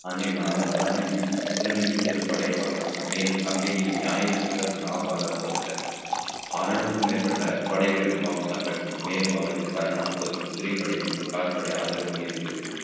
அவருக்கு அனுப்பி செல்லும் படையை பலப்படுத்தினேன் மேலும் கம்பெனியின் ஞாயிறு நவாப்பால் அனுப்பப்பட்டார் அறுநூறுக்கும் மேற்பட்ட படை வீரர்களும் பாபுஸ்கான் பெற்றனர் மேலும் அவருக்கு கன்னட பகுதியில் குதிரைப்படை மற்றும் கார்படை ஆதரவும் இருந்தது